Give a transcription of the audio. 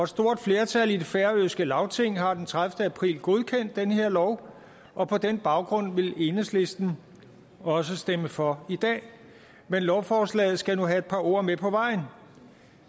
stort flertal i det færøske lagting har den tredivete april godkendt den her lov og på den baggrund vil enhedslisten også stemme for i dag men lovforslaget skal nu have et par ord med på vejen